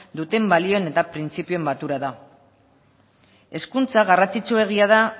duten balioen eta printzipioen batura da hezkuntza garrantzitsuegia da